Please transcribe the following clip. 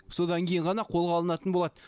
содан кейін ғана қолға алынатын болады